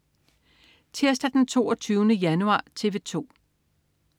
Tirsdag den 22. januar - TV 2: